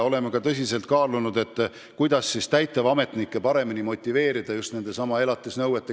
Oleme tõsiselt kaalunud, kuidas täitevametnikke paremini motiveerida elatisraha välja nõudma.